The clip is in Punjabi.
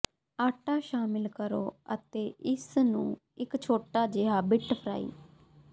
ਆਟਾ ਸ਼ਾਮਿਲ ਕਰੋ ਅਤੇ ਇਸ ਨੂੰ ਇੱਕ ਛੋਟਾ ਜਿਹਾ ਬਿੱਟ ਫਰਾਈ